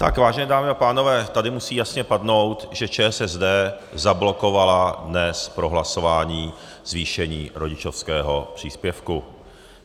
Tak vážené dámy a pánové, tady musí jasně padnout, že ČSSD zablokovala dnes prohlasování zvýšení rodičovského příspěvku.